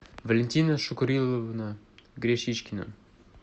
валентина шукуриловна гречичкина